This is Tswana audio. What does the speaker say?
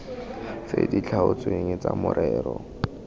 tse di tlhaotsweng tsa morero